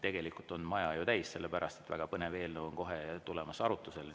Tegelikult on maja täis, sellepärast et väga põnev eelnõu on kohe tulemas arutusele.